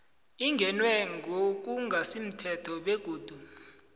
ingenwe ngokungasimthetho begodu